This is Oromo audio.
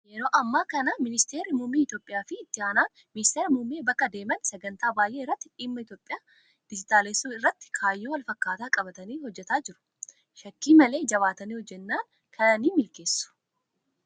Yeroo ammaa kana ministeerri muummee Itoophiyaa fi itti aanaan ministeera muummee bakka deeman sagantaa baay'ee irratti dhimma Itoophiyaa dijitaalessuu irratti kaayyoo wal fakkaataa qabatanii hojjataa jiru. Shakkii malee jabaatanii hojjannaan kana ni milkeessu.